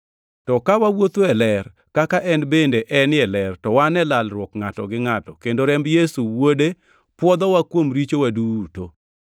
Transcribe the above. To ka wawuotho e ler, kaka en bende enie ler to wan e lalruok ngʼato gi ngʼato, kendo remb Yesu Wuode pwodhowa kuom richowa duto.